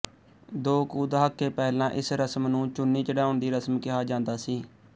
ਦੋ ਕੁ ਦਹਾਕੇ ਪਹਿਲਾਂ ਇਸ ਰਸਮ ਨੂੰ ਚੁੰਨੀ ਚੜ੍ਹਾਉਣ ਦੀ ਰਸਮ ਕਿਹਾ ਜਾਂਦਾ ਸੀ